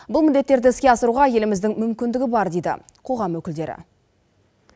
бұл міндеттерді іске асыруға еліміздің мүмкіндігі бар дейді қоғам өкілдері